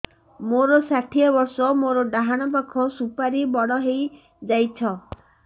ମୋର ଷାଠିଏ ବର୍ଷ ମୋର ଡାହାଣ ପାଖ ସୁପାରୀ ବଡ ହୈ ଯାଇଛ